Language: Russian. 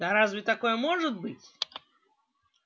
да разве такое может быть